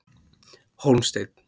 Hólmsteinn